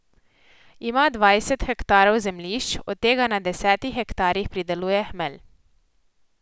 Ima dvajset hektarov zemljišč, od tega na desetih hektarih prideluje hmelj.